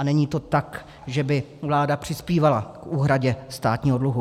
A není to tak, že by vláda přispívala k úhradě státního dluhu.